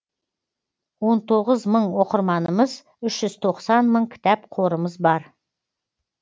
он тоғыз мың оқырманымыз үш жүз тоқсан мың кітап қорымыз бар